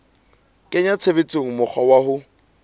kenya tshebetsong mokgwa wa ho